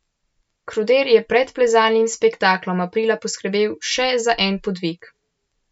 Kruder je pred plezalnim spektaklom aprila poskrbel še za en podvig.